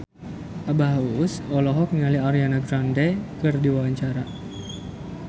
Abah Us Us olohok ningali Ariana Grande keur diwawancara